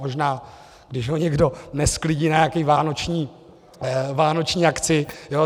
Možná, když ho někdo nesklidí na nějakou vánoční akci.